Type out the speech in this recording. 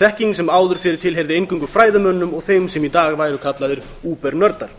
þekking sem áður fyrr tilheyrði eingöngu fræðimönnum og þeim sem í dag væru kallaðir übernördar